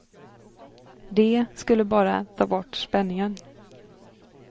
Det skulle bara ta bort spänningen.